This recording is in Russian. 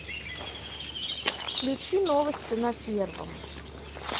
включи новости на первом